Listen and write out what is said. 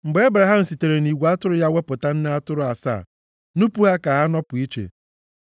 Mgbe Ebraham sitere nʼigwe atụrụ ya wepụta nne atụrụ asaa nupu ha ka ha nọpụ iche,